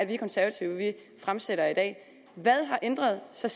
vi konservative fremsætter i dag hvad har ændret sig